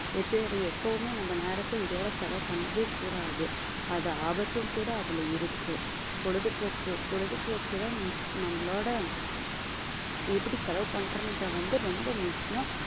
எப்பவுமே நம்ம நேரத்தை இதோட செலவு பண்ணவே கூடாது அது ஆபத்தும் கூட அதுல இருக்கு பொழுதுபோக்கு பொழுதுபோக்குதான் நம்மளோட எப்படி செலவு பண்றதுன்றது வந்து ரொம்ப முக்கியம்